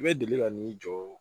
I bɛ deli ka n'i jɔ